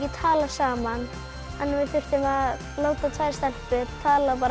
tala saman við þurftum að láta tvær stelpur tala